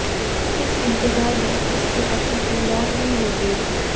इस इंतजार में उसके पति की मौत भी हो गई